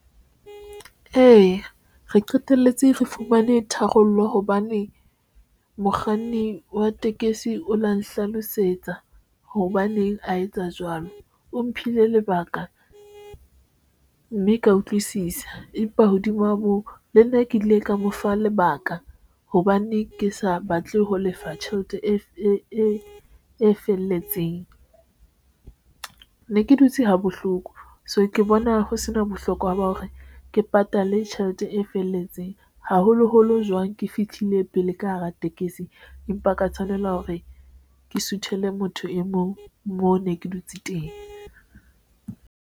Eya, re qeteletse re fumane tharollo hobane mokganni wa tekesi o la nhlalosetsa hobaneng a etsa jwalo o mphile lebaka mme ka utlwisisa. Empa hodima moo, le nna ke ile ka mofa lebaka hobane ke sa batle ho lefa tjhelete e felletseng ne ke dutse ha bohloko, so ke bona ho sena bohlokwa ba hore ke patale tjhelete e felletseng haholoholo jwang ke fihlile pele ka hara tekesi, empa ka tshwanela hore ke suthele motho e mong, mo ne ke dutse teng.